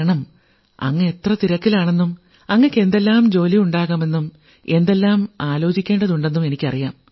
കാരണം അങ്ങ് എത്ര തിരക്കിലാണെന്നും അങ്ങയ്ക്ക് എന്തെല്ലാം ജോലിയുണ്ടാകാമെന്നും എന്തെല്ലാം ആലോചിക്കേണ്ടതുണ്ടെന്നും എനിക്കറിയാം